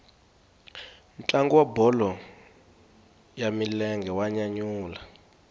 ntlangu wa bolo ya milenge wa nyanyula